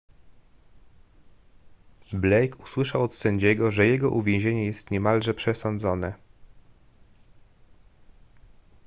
blake usłyszał od sędziego że jego uwięzienie jest niemalże przesądzone